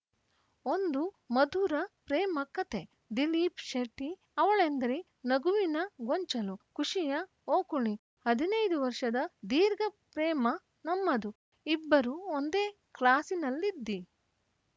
ಒಂದು ಮಧುರ ಪ್ರೇಮ ಕತೆ ದಿಲೀಪ ಶೆಟ್ಟಿ ಅವಳೆಂದರೆ ನಗುವಿನ ಗೊಂಚಲು ಖುಷಿಯ ಓಕುಳಿ ಹದಿನೈದು ವರ್ಷದ ದೀರ್ಘ ಪ್ರೇಮ ನಮ್ಮದು ಇಬ್ಬರು ಒಂದೇ ಕ್ಲಾಸಿನಲ್ಲಿದ್ವಿ